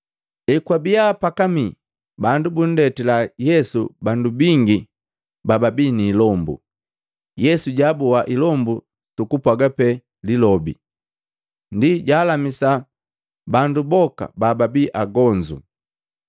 Ekwabiya pakamii, bandu bundetila Yesu bandu bingi bababii niilombu, Yesu jaaboa ilombu sukupwaga pee lilobi, ndi jaalamisa bandu boka bababi agonzu boti.